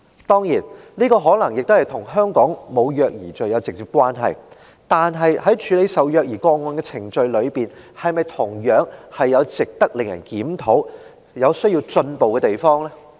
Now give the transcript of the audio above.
當然，這可能與香港沒有虐兒罪有直接關係，但是，在處理虐兒個案的程序中，是否同樣有值得檢討及需要進步的地方呢？